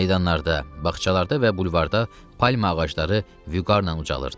Meydanlarda, bağçalarda və bulvarda palma ağacları vüqarla ucalırdı.